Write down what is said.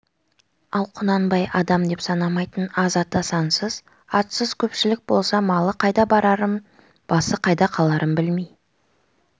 ал құнанбай адам деп санамайтын аз ата сансыз атсыз көпшілік болса малы қайда барарын басы қайда қаларын білмей